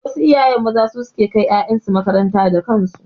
Wasu iyaye maza su suke kai ƴaƴansu makaranta da kansu.